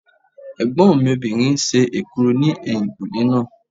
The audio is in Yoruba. Ẹ̀gbọ́n mi obìnrin ń ṣe èkuru ní ẹ̀yìnkùnlé náà